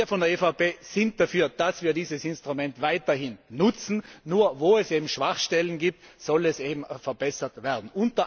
Wir von der EVP sind dafür, dass wir dieses Instrument weiterhin nutzen. Nur wo es Schwachstellen gibt, soll es eben verbessert werden.